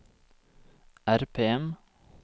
RPM